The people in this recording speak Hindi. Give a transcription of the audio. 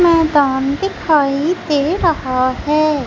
मैदान दिखाई दे रहा है।